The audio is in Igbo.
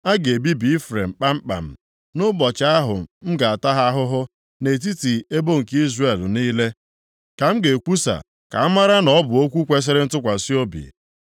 A ga-ebibi Ifrem kpamkpam nʼụbọchị ahụ m ga-ata ha ahụhụ. + 5:9 Maọbụ, nʼụbọchị ntaramahụhụ Nʼetiti ebo nke Izrel niile, ka m na-ekwusa ka amara na ọ bụ okwu kwesiri ntụkwasị obi. + 5:9 Ya bụ, okwu nʼaghaghị imezu